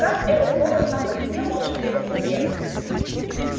как этот голос сам по себе может двигаться вверх